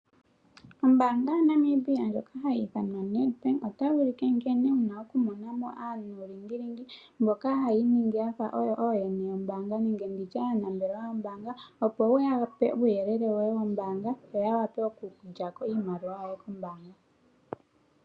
Ombaanga yaNamibia ndjoka hayi ithanwa Nedbank otayi ulike nkene wuna oku mona mo anuulingilingi mboka haya iningi yafa oyo ooyene yombaanga nenge nditye aanambelwa yomombaanga, opo wu ya pe uuyelele woye wombaanga yo ya vule oku lya ko iimaliwa yoye kombaanga.